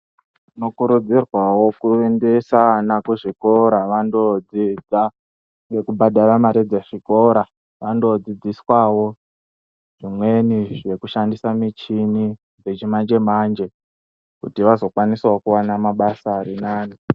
Tinokurudzirwawo kuendesa vana kuchikora kuti vandodzidza ngekubhadhara mare dzezvikora vandodzidziswawo zvimweni zvekushandisa michini yechimanje manje kuti vazokwanisawo kuona mabasa arinane .